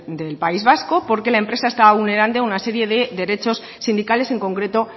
del país vasco porque la empresa estaba vulnerando una serie de derechos sindicales en concreto